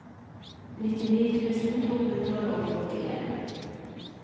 nittini tusen to hundre og nittien